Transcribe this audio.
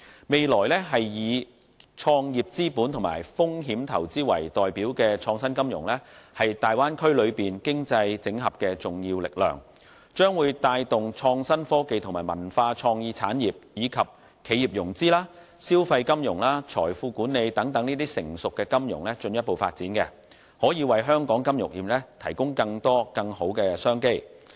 未來以創業資本和風險投資為代表的創新金融，是大灣區內經濟整合的重要力量，將會帶動創新科技和文化創意產業，以及企業融資、消費金融和財富管理等成熟金融業務進一步發展，可以為香港金融業提供更多、更好的商機。